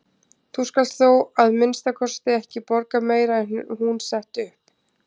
Þú skalt þó að minnsta kosti ekki borga meira en hún setti upp.